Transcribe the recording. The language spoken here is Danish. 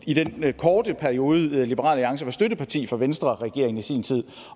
i den korte periode liberal alliance var støtteparti for venstreregeringen i sin tid